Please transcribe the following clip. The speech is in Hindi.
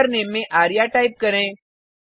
यूजरनेम में आर्य टाइप करें